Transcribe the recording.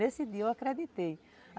Nesse dia eu acreditei.